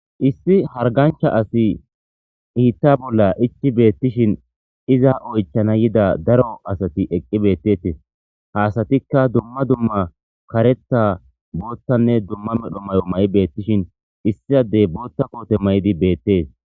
Issi hargancha asi iitta bolla ichi beettishin iza oychana yida daro asati eqqi beettetee haasatikka dumma dumma kareta boottanne dumma medho may'o may'i beettishin issiadey bootta koote may'di beettees.